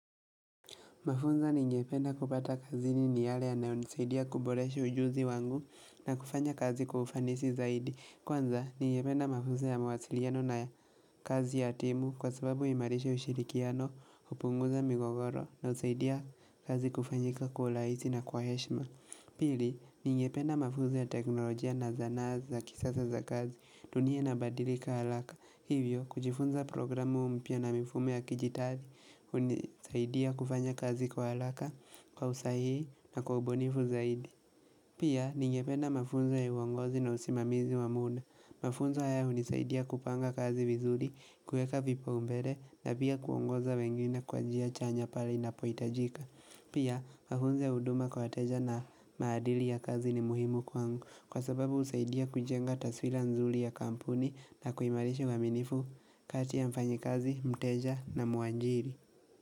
Mafunzo ningependa kupata kazi ni ni yale yananisaidia kuboresha ujuzi wangu na kufanya kazi kwa ufanisi zaidi. Kwanza ningependa mafunzo ya mawasiliano na kazi ya timu kwa sababu imarisha ushirikiano kupunguza migogoro na usaidia kazi kufanyika kwa laisi na kwa heshma. Pili, ningependa mafunzo ya teknolojia na zana za kisasa za kazi dunia nabadirika araka. Hivyo, kujifunza programu mpya na mifumo ya kijitari, unisaidia kufanya kazi kwa alaka, kwa usahi na kwa ubunifu zaidi Pia, ningependa mafunzo ya uongozi na usimamizi wamuda Mafunzo haya unisaidia kupanga kazi vizuri, kueka vipo umbele na pia kuongoza wengine kwa njia chanya pale napoitajika Pia, mafunzo ya uduma kwa wateja na maadili ya kazi ni muhimu kwa angu kwa sababu usaidia kujenga taswira nzuli ya kampuni na kuimarisha waminifu kati ya mfanyi kazi, mteja na muajiri.